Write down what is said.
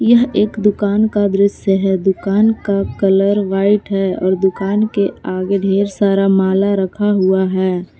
यह एक दुकान का दृश्य है दुकान का कलर व्हाइट है और दुकान के आगे ढेर सारा माला रखा हुआ है।